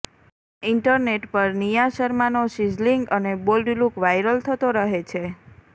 internet પર નિયા શર્માનો sizzling અને બોલ્ડ લુક વાયરલ થતો રહે છે